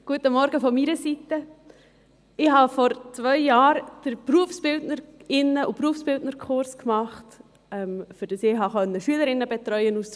Ich habe vor zwei Jahren den Berufsbildnerinnen- und Berufsbildnerkurs gemacht, damit ich Schülerinnen auf der Station betreuen kann.